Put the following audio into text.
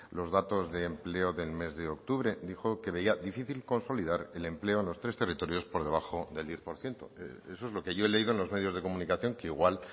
los datos de empleo del mes de octubre dijo que veía difícil consolidar el empleo en los tres territorios por debajo del diez por ciento eso es lo que yo he leído en los medios de comunicación que igual